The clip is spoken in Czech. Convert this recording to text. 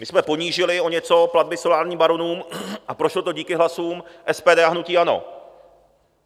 My jsme ponížili o něco platby solárním baronům a prošlo to díky hlasům SPD a hnutí ANO.